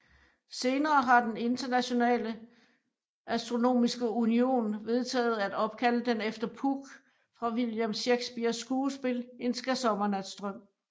Senere har den Internationale Astronomiske Union vedtaget at opkalde den efter Puck fra William Shakespeares skuespil En skærsommernatsdrøm